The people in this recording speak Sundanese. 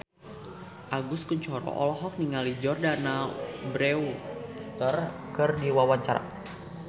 Agus Kuncoro olohok ningali Jordana Brewster keur diwawancara